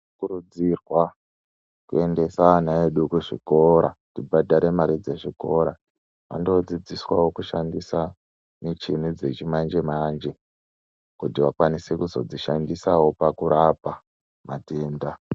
Tinokurudzirwa kuendesa ana edu kuzvikora tibhadhare mare dzezvikora. Vandodzidziswawo kushandisa michini dzechimanje-manje kuti vakwanise kuzodzishandisawo pakurapa matenda.